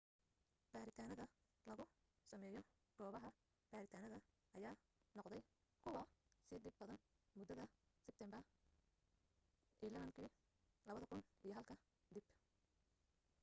baaritaanada lagu sameeyo goobaha baaritaanada ayaa noqday kuwa sii dhib badan mudada seteembar 11 2001 ka dib